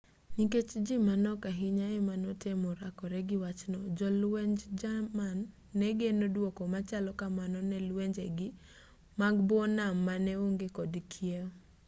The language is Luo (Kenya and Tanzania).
nikech ji manok ahinya ema notemo rakore gi wachno jolwenj jerman ne geno dwoko machalo kamano ne lwenjegi mag buo nam mane onge kod kiew